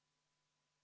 Head ametikaaslased!